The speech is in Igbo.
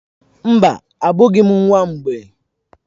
Mba, abụghị m nwa mgbei.